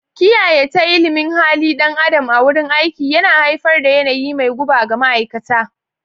Kiyayya ta ilimin halin dan adam a wurin aiki yana haifar da yanayi mai guba ga ma'aikata.